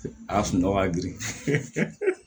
A sunɔgɔ ka girin